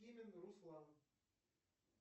руслан